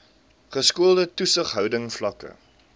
geskoolde toesighouding vlakke